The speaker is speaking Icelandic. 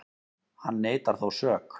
Hann neitar þó sök